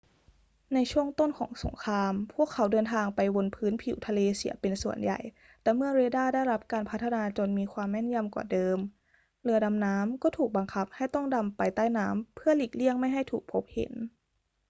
ในช่วงต้นของสงคราม พวกเขาเดินทางไปบนพื้นผิวทะเลเสียเป็นส่วนใหญ่ แต่เมื่อเรดาร์ได้รับการพัฒนาจนมีความแม่นยำกว่าเดิม เรือดำน้ำก็ถูกบังคับให้ต้องดำไปใต้น้ำเพื่อหลีกเลี่ยงไม่ให้ถูกพบเห็น